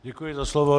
Děkuji za slovo.